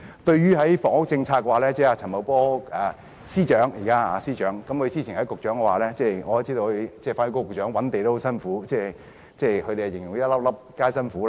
對於房屋政策，主席，我知道現任司長陳茂波——前職是局長——和現任發展局局長覓地也很辛苦，他們形容為"粒粒皆辛苦"。